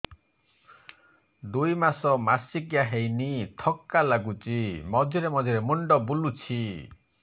ଦୁଇ ମାସ ମାସିକିଆ ହେଇନି ଥକା ଲାଗୁଚି ମଝିରେ ମଝିରେ ମୁଣ୍ଡ ବୁଲୁଛି